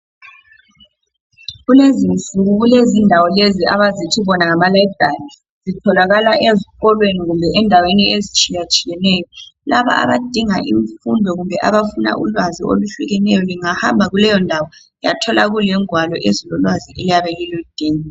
Kulezinsuku kulezindawo lezi abazithi bona ngama layibhali zitholakala ezikolweni kumbe ezindaweni ezitshiyatshiyeneyo laba abadinga imfundo kumbe abafuna ulwazi oluhlukeneyo lingahamba kuleyondawo uyathola kule ngwalo ezilo lwazi oliyabe lulu dinga.